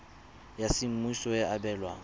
ya semmuso e e abelwang